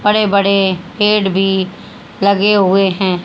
बड़े बड़े पेड़ भी लगे हुए हैं।